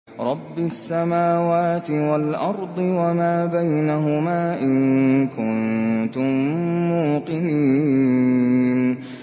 رَبِّ السَّمَاوَاتِ وَالْأَرْضِ وَمَا بَيْنَهُمَا ۖ إِن كُنتُم مُّوقِنِينَ